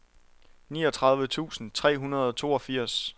niogtredive tusind tre hundrede og toogfirs